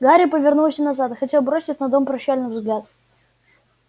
гарри повернулся назад хотел бросить на дом прощальный взгляд